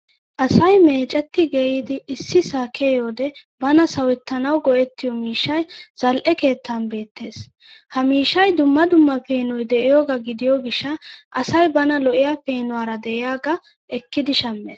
Asay meecetti geeyyidi issisaa kiyiyode bana sawettanawu go'ettiyo miishshay zal'e keettan beettes. Ha miishshay dumma dumma peenoy de'iyoogaa gidiyo gishsha asay bana lo'iyaa peenuwaara de'iyaagaa ekkidi shammes.